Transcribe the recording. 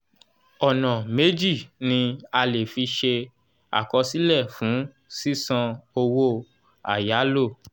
ọ̀nà méjì ni a le fi ṣe àkọsílẹ̀ fún sísan owó àyálò